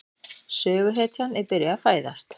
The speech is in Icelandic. Söguhetjan er byrjuð að fæðast.